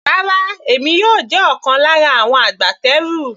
Rárá, èmi yóò jẹ́ ọ̀kan lára àwọn agbátẹrù.